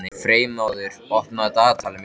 Freymóður, opnaðu dagatalið mitt.